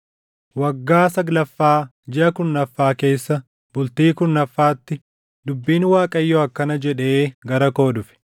Waggaa saglaffaa, jiʼa kurnaffaa keessa bultii kurnaffaatti; dubbiin Waaqayyoo akkana jedhee gara koo dhufe: